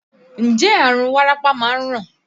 Ǹjẹ́ àrùn wárápá máa ń ràn?